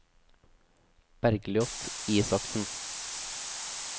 Bergljot Isaksen